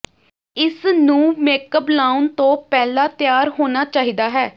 ਇਸ ਨੂੰ ਮੇਕਅਪ ਲਾਉਣ ਤੋਂ ਪਹਿਲਾਂ ਤਿਆਰ ਹੋਣਾ ਚਾਹੀਦਾ ਹੈ